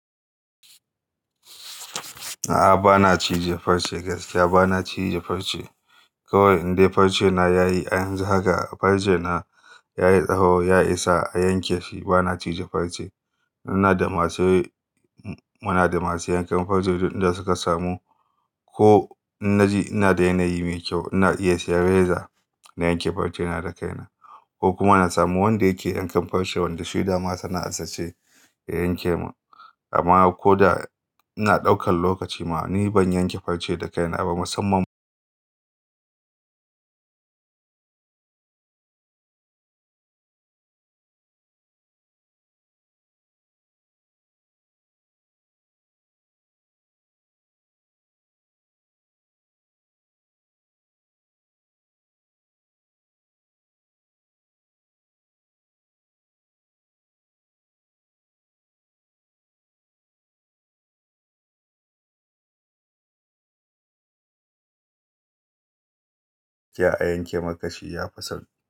A'a, ba na cije farce gaskiya. Ba na cije farce. Kowai inde farce na yayi, anjima haka farce na yayi tsaho, ya isa a yanke shi. Ba na cije farce. Muna da masu, muna da masu yankan farce duk inda suka samu. Ko in naji ina da yanayi mai kyau, ina iya sayan reza na yanke farce na da kaina ko kuma na samu wanda yake yankan farce, wanda shi dama sana'a ce, ya yanke mun. Amma ko da ina ɗaukan lokaci ma, ni ban yanke farce da kaina ba. Musamman ka je a yanke maka shi yafi sauƙi.